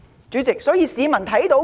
主席，市民看到甚麼？